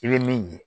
I bɛ min ye